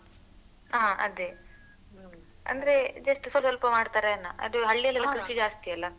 ಹ ಅದೆ ಅಂದ್ರೆ just ಸ ಸ್ವಲ್ಪ ಮಾಡ್ತಾರೆ ಏನ ಅದು ಹಳ್ಳಿಯಲ್ಲೆಲ್ಲ ಕೃಷಿ ಜಾಸ್ತಿ ಅಲ್ಲ.